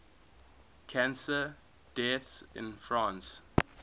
cancer deaths in france